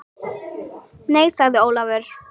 Nei sagði Ólafur.